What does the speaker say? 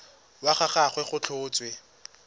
wa ga gagwe go tlhotswe